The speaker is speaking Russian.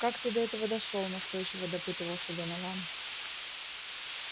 как ты до этого дошёл настойчиво допытывался донован